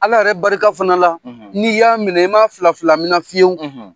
Ala yɛrɛ barika fana la n'i y'a minɛ, i ma fila fila minɛ fiyewu